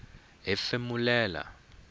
hefemulela